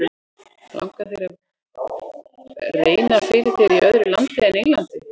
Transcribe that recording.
Langar þér að reyna fyrir þér í öðru landi en Englandi?